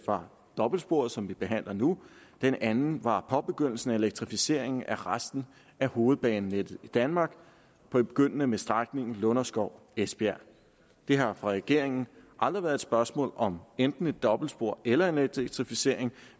var dobbeltsporet som vi behandler nu den anden var påbegyndelsen af elektrificeringen af resten af hovedbanenettet i danmark begyndende med strækningen lunderskov esbjerg det har for regeringen aldrig været et spørgsmål om enten et dobbeltspor eller en elektrificering